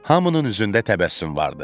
Hamının üzündə təbəssüm vardı.